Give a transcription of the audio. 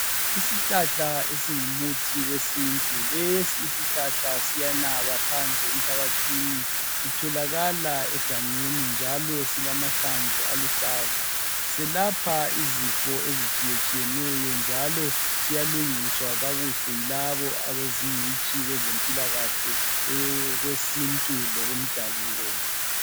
Isihlahla esingumuthi owesintu lesi isihlahla siyanaba phansi emhlabathini sitholakala engangeni njalo silamahlamvu aluhlaza siyelapha izifo ezitshiyetshiyeneyo njalo siyalungisa kakuhle yilabo abezingcitshi kwezempilakahle okwesintu lokodabuko.